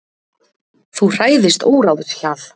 Þú hræðist óráðshjal.